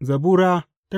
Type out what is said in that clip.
Zabura Sura